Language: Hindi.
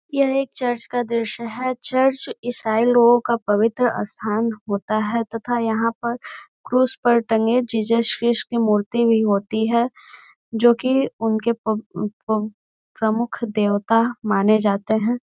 यह एक चर्च का दृश्य है। चर्च ईसाई लोगों का पवित्र स्थान होता है तथा यहाँ पर क्रूस पर टंगे जीजस की मूर्ति भी होती है जो कि उनके प अ प प्रमुख देवता माने जाते है।